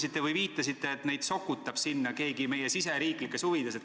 Te viitasite, et neid sokutab sinna keegi oma riigisisestes huvides.